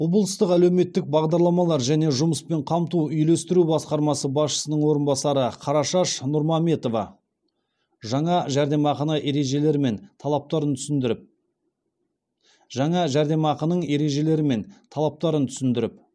облыстық әлеуметтік бағдарламалар және жұмыспен қамту үйлестіру басқармасы басшысының орынбасары қарашаш нұрмаметова жаңа жәрдемақыны ережелері мен талаптарын түсіндіріп жаңа жәрдемақының ережелері мен талаптарын түсіндіріп